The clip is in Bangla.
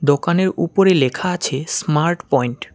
দোকানের উপরে লেখা আছে স্মার্ট পয়েন্ট ।